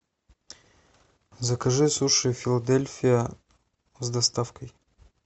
закажи суши филадельфия с доставкой